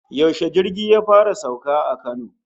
Yaushe jirgi ya fara sauka a Kano?